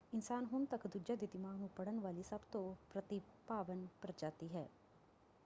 ਇਨਸਾਨ ਹੁਣ ਤੱਕ ਦੂਜਿਆਂ ਦੇ ਦਿਮਾਗ ਨੂੰ ਪੜ੍ਹਨ ਵਾਲੀ ਸਭ ਤੋਂ ਪ੍ਰਤਿਭਾਵਾਨ ਪ੍ਰਜਾਤੀ ਹੈ।